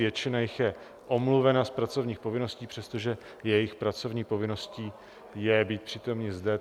Většina jich je omluvena z pracovních povinností, přestože jejich pracovní povinností je být přítomný zde.